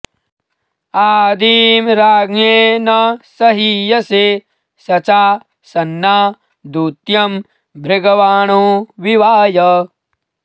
आदीं राज्ञे न सहीयसे सचा सन्ना दूत्यं भृगवाणो विवाय